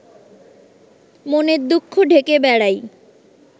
মনের দুঃখ ঢেকে বেড়াই